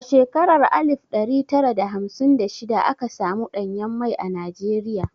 A shekarar alif ɗari tara da hamsin da shida aka samu ɗanyen mai a Najeriya.